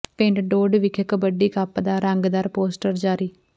ਪਿੰਡ ਡੋਡ ਵਿਖੇ ਕਬੱਡੀ ਕੱਪ ਦਾ ਰੰਗਦਾਰ ਪੋਸਟਰ ਜਾਰੀ